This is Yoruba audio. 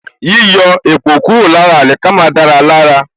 Yíyọ èpò kúrò lára àlìkámà dára lára